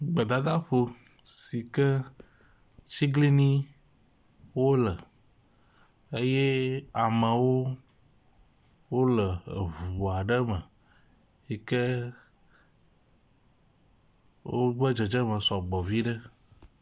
Gbedadaƒo si atiglinyi wole eye amewo wole eŋu aɖe me yi ke wobe dzedzeme sɔgbɔ vi ɖe.